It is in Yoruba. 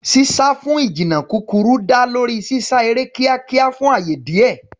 Sísá fún ìjìnnà kúkúrú dá lórí sísá eré kíákíá fún ààyè díẹ̀.